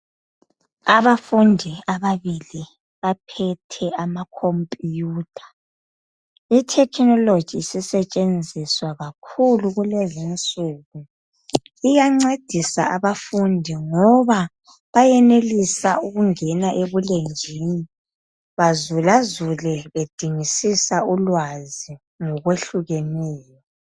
Abafundi ababili, baphethe amakhompuyutha. Ithekhinoloji isisetshenziswa kakhulu kulezinsuku iyancedisa abafundi ngoba bayenelisa ukungena ebulenjini bazulazule bedingisisa ulwazi ngokwehlukeneyo.